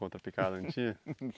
Contra picada, não tinha?